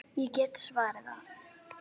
Hvað er með álfum?